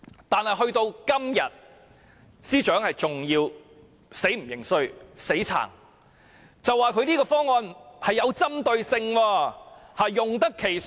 但直到今天，司長仍不認輸、仍嘴硬，說他這個方案有針對性、資源用得其所。